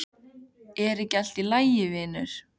Er ekki allt í lagi vinur?